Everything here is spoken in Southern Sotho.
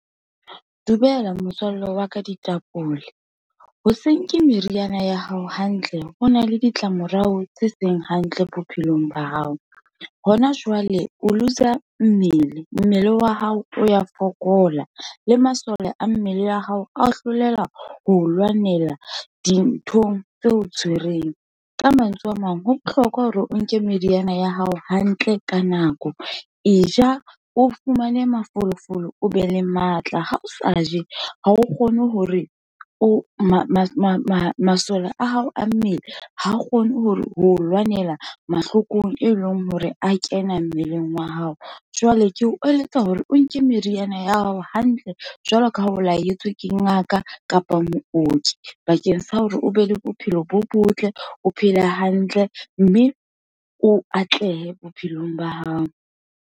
Dumela motswalle wa ka ditapole, hoseng ke meriana ya hao hantle, ho na le ditlamorao tse seng hantle bophelong ba hao. Hona jwale o looser mmele, mmele wa hao o ya fokola, le masole a mmele ya hao a o hloleha ho lwanela dinthong tse o tshwereng. Ka mantswe a mang ho bohlokwa hore o nke meriana ya hao, hantle ka nako, e ja, o fumane mafolofolo, o be le matla. Ha o sa je, ha o kgone hore o masole a hao a mmele, ha kgone ho lwanela mahlokong, e leng hore a kena mmeleng wa hao. Jwale ke o eletsa hore o nke meriana ya hao hantle, jwalo ka ha o laetswe ke ngaka kapa mooki, bakeng sa hore o be le bophelo bo botle, o phele hantle, mme o atlehe bophelong ba hao.